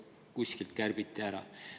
Lihtsalt 100 000 eurot kärbiti kuskilt ära.